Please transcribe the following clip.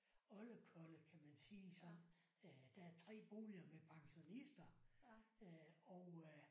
Oldekolle kan man sige sådan øh der er 3 boliger med pensionister øh og øh